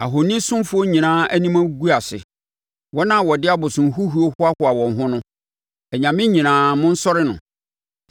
Ahonisomfoɔ nyinaa anim agu ase, wɔn a wɔde abosomhuhuo hoahoa wɔn ho no, anyame nyinaa monsɔre no.